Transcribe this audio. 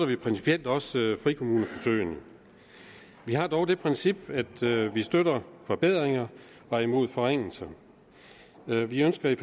vi principielt også frikommuneforsøgene vi har dog det princip at vi støtter forbedringer og er imod forringelser vi ønsker i